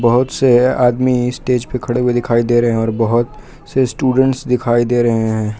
बहुत से आदमी स्टेज पे खड़े हुए दिखाई दे रहे है और बहोत से स्टूडेंट्स दिखाई दे रहे है।